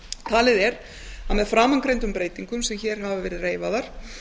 talið er að með framangreindum breytingum sem hér hafa verið reifaðar